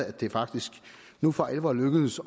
at det faktisk nu for alvor er lykkedes